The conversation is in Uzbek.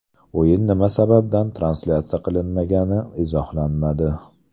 O‘yin nima sababdan translyatsiya qilinmagani izohlanmadi.